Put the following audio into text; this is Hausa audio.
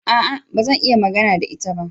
A'a! Ba zan iya magana da ita ba.